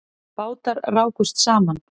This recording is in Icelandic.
Bátar rákust saman